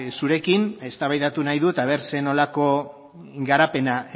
zurekin eztabaidatu nahi dut aber zer nolako garapena